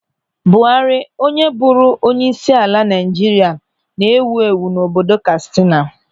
Buhari, onye bụrụ onyeisiala Naịjirịa, na-ewu ewu n'obodo Katsina.